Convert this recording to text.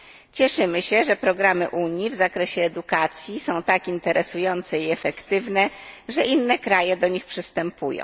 Cieszymy się, że programy Unii w zakresie edukacji są tak interesujące i efektywne, że inne kraje do nich przystępują.